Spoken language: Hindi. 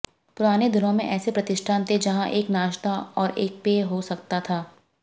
पुराने दिनों में ऐसे प्रतिष्ठान थे जहां एक नाश्ता और एक पेय हो सकता था